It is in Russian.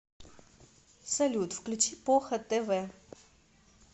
салют включи поха тэ вэ